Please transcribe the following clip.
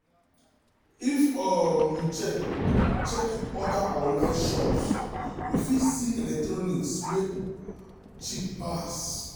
if um you check check other um online shops you fit see electronics wey um cheap pass.